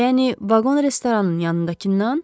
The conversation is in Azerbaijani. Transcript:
Yəni vaqon restoranın yanındakından?